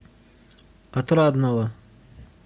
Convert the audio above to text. отрадного